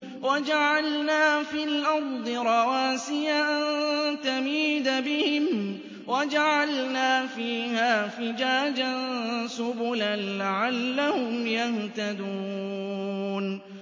وَجَعَلْنَا فِي الْأَرْضِ رَوَاسِيَ أَن تَمِيدَ بِهِمْ وَجَعَلْنَا فِيهَا فِجَاجًا سُبُلًا لَّعَلَّهُمْ يَهْتَدُونَ